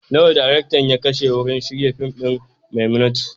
Nawa daraktan ya kashe wurin shirya fim ɗin "Maimunatu"?